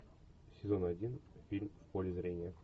сезон один фильм в поле зрения